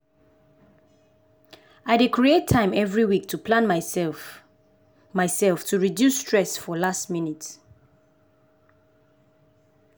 i dey create time every week to plan myself myself to reduce stress for last minute.